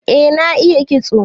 Eh na iya kitso.